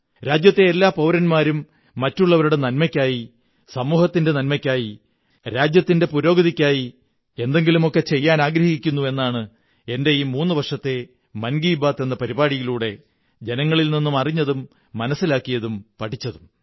രാജ്യത്തെ എല്ലാ പൌരന്മാരും മറ്റുള്ളവരുടെ നന്മയ്ക്കായി സമൂഹത്തിന്റെ നന്മയ്ക്കായി രാജ്യത്തിന്റെ പുരോഗതിക്കായി എന്തെങ്കിലുമൊക്കെ ചെയ്യാനാഗ്രഹിക്കുന്നു എന്നാണ് എന്റെ ഈ മൂന്നുവര്ഷെത്തെ മൻ കീ ബാത്ത് എന്ന പരിപാടിയിലൂടെ ജനങ്ങളിൽ നിന്നും അറിഞ്ഞതും മനസ്സിലാക്കിയതും പഠിച്ചതും